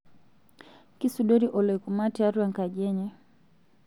kisudori oloikuma tiatua ekaji enye